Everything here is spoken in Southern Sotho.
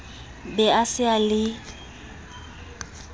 be a se a le